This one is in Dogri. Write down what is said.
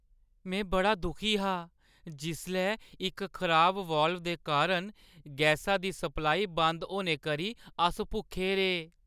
में बड़ा दुखी हा जिसलै इक खराब वाल्व दे कारण गैसा दी सप्लाई बंद होने करी अस भुक्खे रेह्।